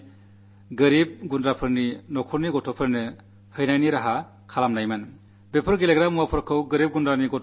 അങ്ങനെ കിട്ടിയ കളിപ്പാട്ടങ്ങൾ ദാരിദ്ര്യമുള്ള തെരുവിലെ അംഗനവാടികളിൽ വിതരണം ചെയ്തിരുന്നു